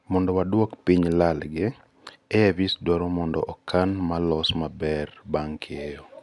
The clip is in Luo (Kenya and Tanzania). mondo waduok piny lal gi, AIVs dwaro mondo okan ma los maber bang keyo